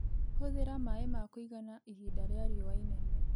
Hũthĩra maaĩ ma kũigana ihinda rĩa riũa inene.